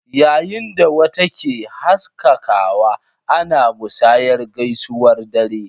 Yayin da wata ke haskakawa, ana musayar gaisuwar dare.